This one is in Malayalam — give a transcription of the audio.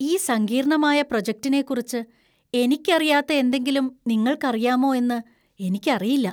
ഈ സങ്കീർണ്ണമായ പ്രൊജക്റ്റിനെക്കുറിച്ച് എനിക്കറിയാത്ത എന്തെങ്കിലും നിങ്ങൾക്കറിയാമോ എന്ന് എനിക്കറിയില്ല.